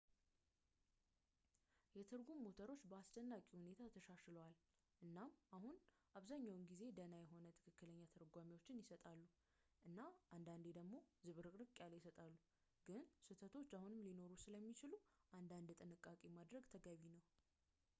የትርጉም ሞተሮች በአስደናቂ ሁኔታ ተሻሽለዋል ፣ እና አሁን አብዛኛው ጊዜ ደህና የሆነ ትክክለኛ ትርጓሜዎችን ይሰጣሉ እና አንዳንዴ ደግሞ ዝብርቅርቅ ያለ ይሰጣሉ ፣ ግን ስህተቶች አሁንም ሊኖሩ ስለሚችሉ አንዳንድ ጥንቃቄ ማድረግ ተገቢ ነው